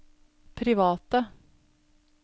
private